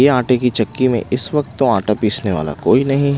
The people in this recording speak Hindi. आटे की चक्की में इस वक्त तो आटा पीसने वाला कोई नहीं है।